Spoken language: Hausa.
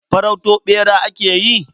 Farauto ɓera ake yi?